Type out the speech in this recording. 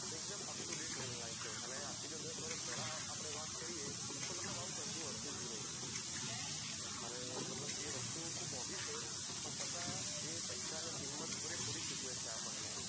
એકદમ up to date level છે અને આજ થી જો દસ વર્ષ પેહલા આપને વાત કરીએ તો આવું કઈ હતું જ ની મતલબ એ વસ્તુ ખુબ મોગી છે પણ છતાં જે પૈસા ની કિમત પૂરે પૂરી ચુકવે છે આપણને